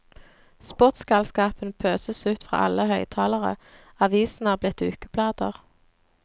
Sportsgalskapen pøses ut fra alle høyttalere, avisene er blitt ukeblader.